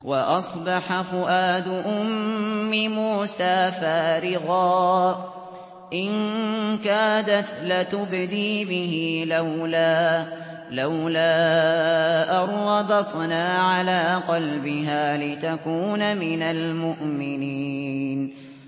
وَأَصْبَحَ فُؤَادُ أُمِّ مُوسَىٰ فَارِغًا ۖ إِن كَادَتْ لَتُبْدِي بِهِ لَوْلَا أَن رَّبَطْنَا عَلَىٰ قَلْبِهَا لِتَكُونَ مِنَ الْمُؤْمِنِينَ